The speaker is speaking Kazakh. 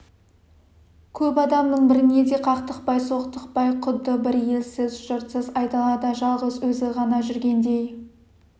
көп адамның біріне де қақтықпай соқтықпай құдды бір елсіз жұртсыз айдалада жалғыз өзі ғана жүргендей